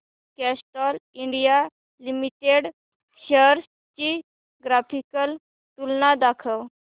Castrol India Limited shares ची graphical तुलना दाखव